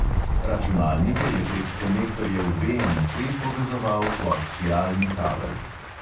Računalnike je prek konektorjev BNC povezoval koaksialni kabel.